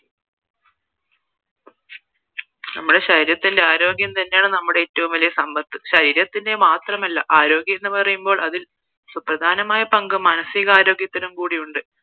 നമ്മുടെ ശരീരത്തിലെ ആരോഗ്യം തന്നെയാണ് നമ്മുടെ ഏറ്റവും വലിയ സമ്പത്ത് ശരീരത്തിന്റെ മാത്രമല്ല ആരോഗ്യം എന്ന പറയുമ്പോള് അതിൽ സുപ്രധാനമായ പങ്ക് മാനസികാരോഗ്യത്തിനുമുണ്ട്